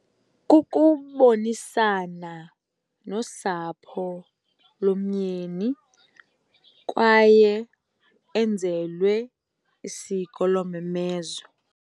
Kukubonisana nosapho lomyeni kwaye enzelwe isiko lomemezo.